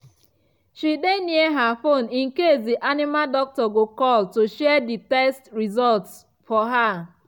she dey near her phone in case the animal doctor go call to share the test results for her